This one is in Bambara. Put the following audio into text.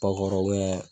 Bakɔri